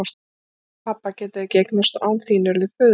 Betri pabba geta þau ekki eignast og án þín eru þau föðurlaus.